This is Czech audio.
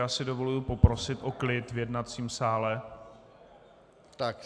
Já si dovoluji poprosit o klid v jednacím sále.